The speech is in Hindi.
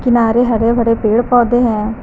किनारे हरे भरे पेड़ पौधे हैं।